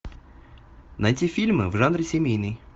найти фильмы в жанре семейный